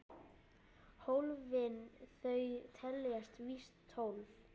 Hólfin þau teljast víst tólf.